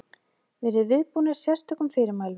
Verið viðbúnir sérstökum fyrirmælum.